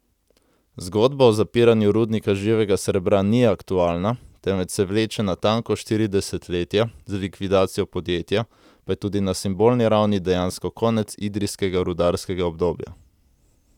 Zgodba o zapiranju rudnika živega srebra ni aktualna, temveč se vleče natanko štiri desetletja, z likvidacijo podjetja pa je tudi na simbolni ravni dejansko konec idrijskega rudarskega obdobja.